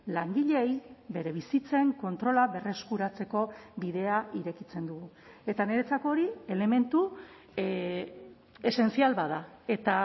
langileei bere bizitzen kontrola berreskuratzeko bidea irekitzen dugu eta niretzako hori elementu esencial bat da eta